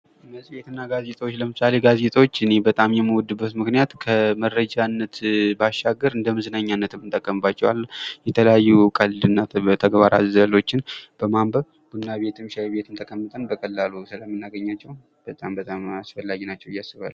መፅሔት እና ጋዜጦች ። ለምሳሌ ጋዜጦች እኔ በጣም የምወድበት ምክንያት ከመረጃነት ባሻገር እንደመዝናኛነትም እጠቀምባቸዋለሁ ። የተለያዩ ቀልድ እና ተግባር አዘሎችን በማንበብ ቡና ቤትም ሻይ ቤትም ተቀምጠን በቀላሉ ስለምናገኛቸው በጣም በጣም አስፈላጊ ናቸው ብዬ አስባለሁ ።